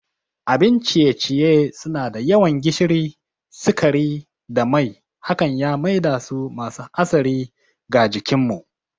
Abin ciye-ciye suna da yawan gishiri, sukari da mai hakan ya maidasu masu hatsari ga jikinmu.